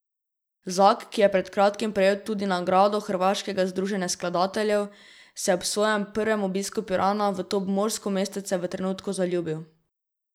Zak, ki je pred kratkim prejel tudi nagrado hrvaškega združenja skladateljev, se je ob svojem prvem obisku Pirana v to obmorsko mestece v trenutku zaljubil.